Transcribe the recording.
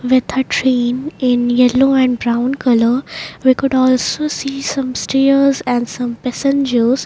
in yellow and brown colour we could also see some stairs and some passengers.